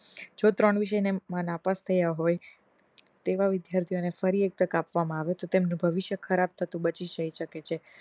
જો ત્રણ વિષયમા નાપાસ થયા હો તેવા વિદ્યાર્થીઓ ને ફરી એક તક આપવામાં માં આવે છે તેમનું ભવિષ્ય ખરાબ થતું બચી જઇ સકે છે